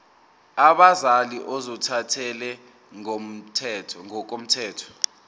abazali ozothathele ngokomthetho